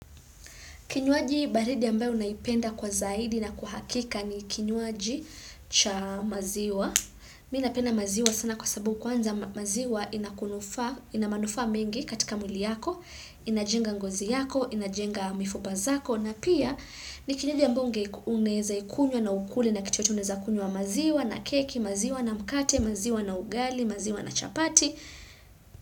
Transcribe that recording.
Kinywaji baridi ambayo naipenda kwa zaidi na kwa hakika ni kinywaji cha maziwa. Mimi napenda maziwa sana kwa sababu kwanza maziwa inakunufaa ina manufa mengi katika muli yako, inajenga ngozi yako, inajenga mifupa zako. Na pia ni kinywaji ambayo unaweza ikunywa na ukule na kitu yoyote, uneza kunywa maziwa na keki, maziwa na mkate, maziwa na ugali, maziwa na chapati.